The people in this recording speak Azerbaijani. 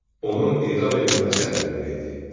Onun edam edilməsi əmrini verdi.